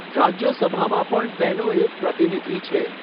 રાજ્યસભામાં પણ તેનો એક પ્રતિનિધિ છે.